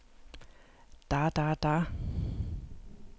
da da da